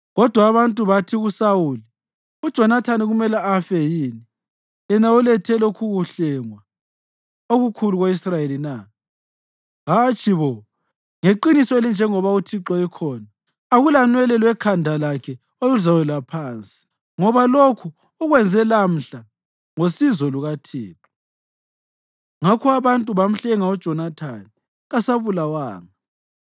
Kodwa abantu bathi kuSawuli, “UJonathani kumele afe yini, yena olethe lokhukuhlengwa okukhulu ko-Israyeli na? Hatshi bo! Ngeqiniso elinjengoba uThixo ekhona, akulanwele lwekhanda lakhe oluzawela phansi, ngoba lokhu ukwenze lamhla ngosizo lukaNkulunkulu.” Ngakho abantu bamhlenga uJonathani, kasabulawanga.